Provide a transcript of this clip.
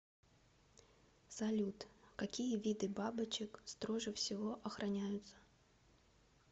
салют какие виды бабочек строже всего охраняются